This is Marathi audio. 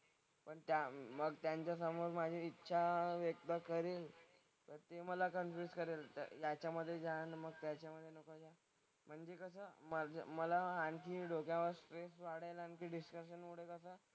पण त्या मग त्यांच्यासमोर माझी इच्छा व्यक्त करीन तर ते मला कन्फ्युज करेल तर याच्यामधे जा आणि मग त्याच्यामधे जा. कारण की कसं माझं मला आणखी डोक्यावर स्ट्रेस वाढेल आणखीन डिस्कशनमधे कसं,